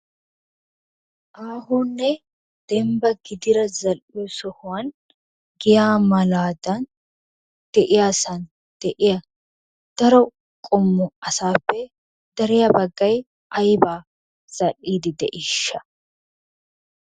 Aahonne dembba gidida zal'iyo sohuwan giyaa malaadan de'iyasan de'iya daro qommo asaappe dariya baggay ayibaa zal'iiddi de'iishsha?